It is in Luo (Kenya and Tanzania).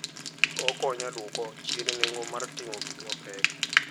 Okonyo e dwoko chien nengo mar ting'o gik mapek.